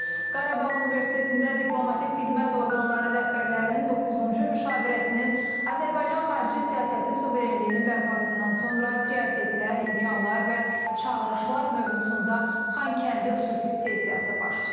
Qarabağ Universitetində diplomatik xidmət orqanları rəhbərlərinin doqquzuncu müşavirəsinin Azərbaycan Xarici siyasəti suverenliyinin bərpasından sonra prioritetlər, imkanlar və çağırışlar mövzusunda Xankəndi xüsusi sessiyası baş tutub.